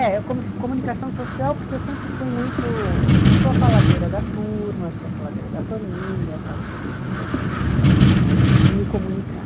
É, eu comecei comunicação social porque eu sempre fui muito, eu sou a faladeira da turma, sou a faladeira da família, tal não sei o que, eu sempre gostei muito de falar, de me comunicar.